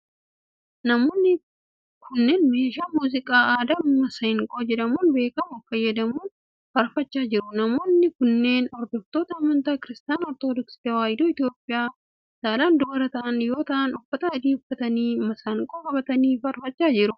Namoonni kunneenmeeshaa muuziqaa aadaa masiinqoo jedhamuun beekamu fayyadamuun faarfachaa jru. Namoonni kunneen hordoftoota amantaa Kiristaana Ortodooksii Tawaahidoo Itoophiyaa saalan dubara ta'an yoo ta'an uffata adii uffatanii fi masiinqoo qabatanii faarfachaa jiru.